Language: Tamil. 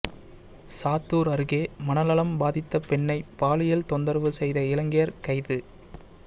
சாத்தூா் அருகே மனநலம் பாதித்த பெண்ணை பாலியல் தொந்தரவு செய்த இளைஞா் கைது